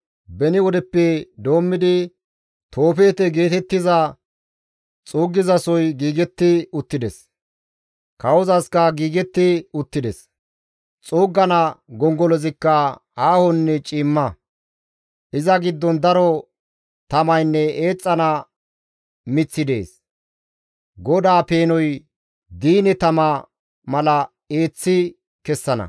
Beni wodeppe doommidi Toofeete geetettiza xuuggizasoy giigetti uttides; kawozasikka giigetti uttides; xuuggana gongolozikka aahonne ciimma; iza giddon daro tamaynne eexxana miththi dees; GODAA peenoy diine tama mala eeththi kessana.